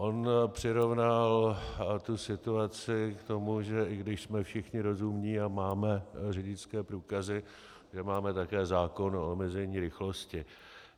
On přirovnal tu situaci k tomu, že i když jsme všichni rozumní a máme řidičské průkazy, že máme také zákon o omezení rychlosti.